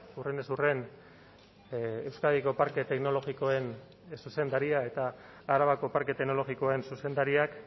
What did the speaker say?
hurrenez hurren euskadiko parke teknologikoen zuzendaria eta arabako parke teknologikoen zuzendariak